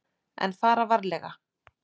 En fara varlega.